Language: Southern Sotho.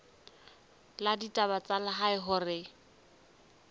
la ditaba tsa lehae hore